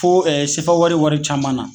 Fo ɛɛ sefa wari wari caman na